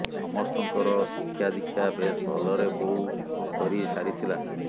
ସମସ୍ତଙ୍କର ଶିକ୍ଷା ଦିକ୍ଷା ବେଶ୍ ଭଲରେ ବୋଉ କରି ସାରିଥିଲା